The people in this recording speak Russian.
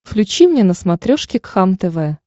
включи мне на смотрешке кхлм тв